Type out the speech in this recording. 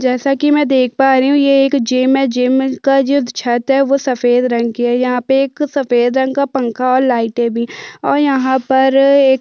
जैसा की मै देख पा रही हु ये एक जिम है जिम में का जो छत है वो सफ़ेद रंग की है यहाँ पर एक सफ़ेद रंग का पंखा और लाइटें भी और यहाँ पर एक--